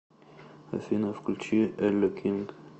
афина включи элле кинг